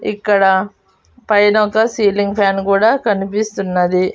ఇక్కడ పైన ఒక సీలింగ్ ఫ్యాన్ కూడా కనిపిస్తున్నది.